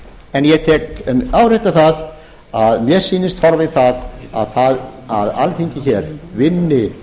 en ég vil árétta það að mér sýnist horfa í það að alþingi hér vinni